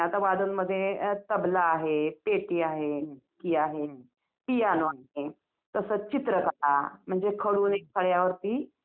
अ खेळणी वगैरे असतात मुलांची तुम्हाला देवांचे फोटो वगैरे भेटतात बाकी काय असतात आणि खूप काही असतं तिकडे बघण्यासाठी.